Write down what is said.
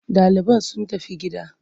Ɗaliban sun tafi gida.